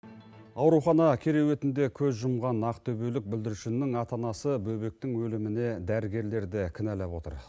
аурухана кереуетінде көз жұмған ақтөбелік бүлдіршіннің ата анасы бөбектің өліміне дәрігерлерді кінәлап отыр